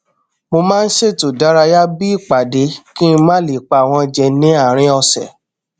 mo maá n ṣètò ìdárayá bí i ìpàdé kí n má lè pa wọn jẹ ní àárín ọsẹ